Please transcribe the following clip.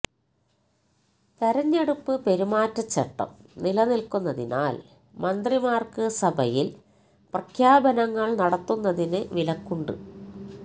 തെരഞ്ഞെടുപ്പ് പെരുമാറ്റച്ചട്ടം നിലനില്ക്കുന്നതിനാല് മന്ത്രിമാര്ക്ക് സഭയില് പ്രഖ്യാപനങ്ങള് നടത്തുന്നതിന് വിലക്കുണ്ട്